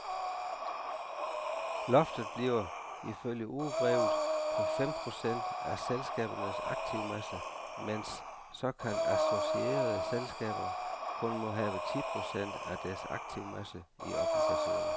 Loftet bliver, ifølge ugebrevet, på fem procent af selskabernes aktivmasse, mens såkaldt associerede selskaber kun må have ti procent af deres aktivmasse i obligationer.